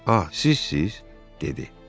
Ah, sizsiz, dedi.